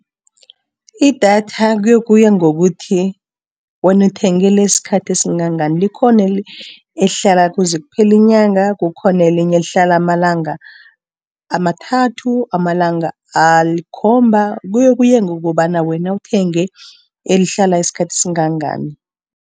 Idatha kuyokuya ngokuthi, wenu uthenge lesikhathi esingangani. Likhona elihlala kuze kuphele inyanga. Kukhona elinye lihlala amalanga amathathu, amalanga alikhomba kuyokuya ngokobana wena uthenge elihlala isikhathi esingangani.